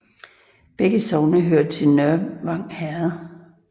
Begge sogne hørte til Nørvang Herred